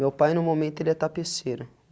Meu pai, no momento, ele é tapeceiro.